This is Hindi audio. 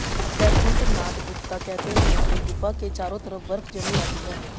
बैकुंठ नाथ गुप्ता कहते हैं कि गुफा के चारों तरफ बर्फ जमी रहती है